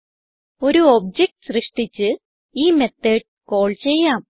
ഒരു ഒബ്ജക്ട് സൃഷ്ടിച്ച് ഈ മെത്തോട് കാൾ ചെയ്യാം